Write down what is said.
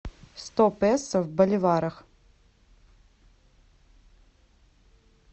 сто песо в боливарах